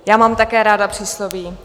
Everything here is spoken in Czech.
Já mám také ráda přísloví.